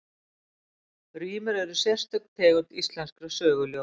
Rímur eru sérstök tegund íslenskra söguljóða.